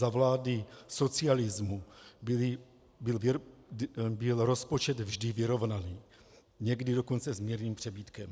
Za vlády socialismu byl rozpočet vždy vyrovnaný, někdy dokonce s mírným přebytkem.